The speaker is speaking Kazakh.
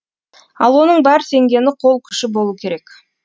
ал оның бар сенгені қол күші болу керек